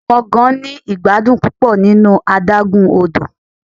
Awọn ọmọ gan ni igbadun pupọ ninu adagun odo